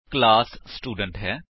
org constructor overloading ਕੀ ਹੈ